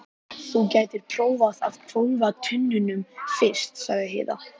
Þú gætir prófað að hvolfa tunnunum fyrst, sagði Heiða.